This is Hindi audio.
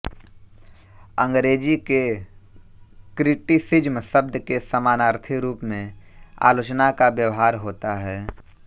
अंग्रेजी के क्रिटिसिज्म शब्द के समानार्थी रूप में आलोचना का व्यवहार होता है